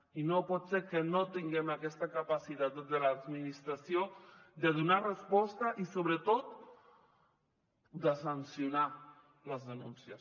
i no pot ser que no tinguem aquesta capacitat des de l’administració de donar resposta i sobretot de sancionar les denúncies